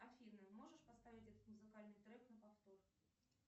афина можешь поставить этот музыкальный трек на повтор